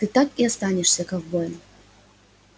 ты так и останешься ковбоем